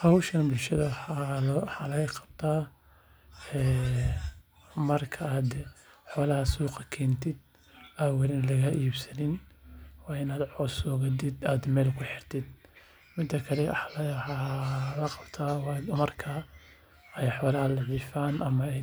Howshan bulshada waxaa looga qabtaa marka xolaha suuqa keentid waa inaad coos soo gadiid xolaha